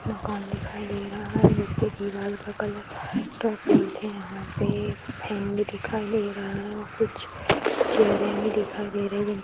मकान दिखाई दे रहा है जिसके दीवार के कलर डार्क पिंक है यहां पे एक फैन भी दिखाई दे रहा है और कुछ चेयरे भी दिखाई दे रही हैं।